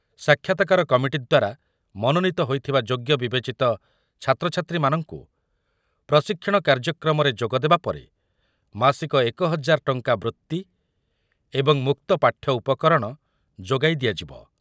ସାକ୍ଷାତକାର କମିଟି ଦ୍ୱାରା ମନୋନୀତ ହୋଇଥିବା ଯୋଗ୍ୟ ବିବେଚିତ ଛାତ୍ରଛାତ୍ରୀମାନଙ୍କୁ ପ୍ରଶିକ୍ଷଣ କାର୍ଯ୍ୟକ୍ରମରେ ଯୋଗଦେବା ପରେ ମାସିକ ଏକ ହଜାର ଟଙ୍କା ବୃତ୍ତି ଏବଂ ମୁକ୍ତ ପାଠ୍ୟ ଉପକରଣ ଯୋଗାଇ ଦିଆଯିବ ।